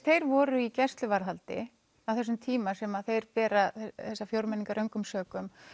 þeir voru í gæsluvarðhaldi á þessum tíma sem þeir bera þessa fjórmenninga röngum sökum